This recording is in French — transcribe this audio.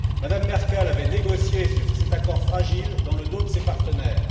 Mme Merkel avait négocié cet accord fragile dans le dos de ses partenaires.